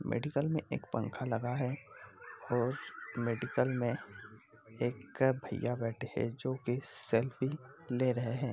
Medical में एक पंखा लगा है और मेडिकल में एक भईया बैठे है जो कि सेल्फी ले रहे है ।